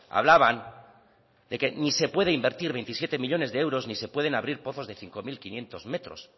hablaban de que ni se puede invertir veintisiete millónes de euros ni se pueden abrir pozos de cinco mil quinientos metros